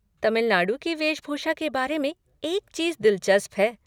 तमिलनाडु की वेशभूषा के बारे में एक चीज़ दिलचस्प है।